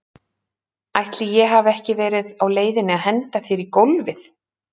Ætli ég hafi ekki verið á leiðinni að henda þér í gólfið?